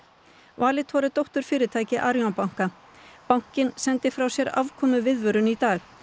Valitor er dótturfyrirtæki Arion banka bankinn sendi frá sér afkomuviðvörun í dag